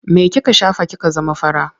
Me kika shafa kika zama fara?